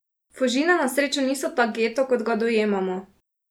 Fužine na srečo niso tak geto, kot ga dojemamo.